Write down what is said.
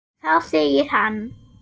Þá segir hann